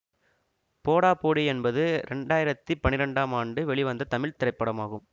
போடா போடி என்பது இரண்டு ஆயிரத்தி பன்னிரெண்டாம் ஆண்டு வெளிவந்த தமிழ் திரைப்படமாகும்